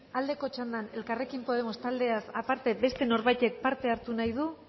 aldeko txandan elkarrekin podemos taldeaz aparte beste norbaitek parte hartu nahi du